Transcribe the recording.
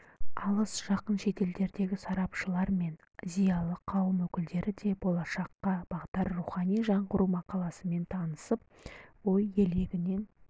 алыс-жақын шетелдердегі сарапшылар мен зиялы қауым өкілдері де болашаққа бағдар рухани жаңғыру мақаласымен танысып ой елегінен